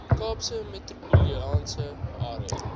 kaapse metropolitaanse area